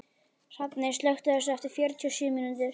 Hrafney, slökktu á þessu eftir fjörutíu og sjö mínútur.